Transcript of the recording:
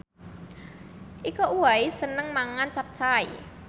Iko Uwais seneng mangan capcay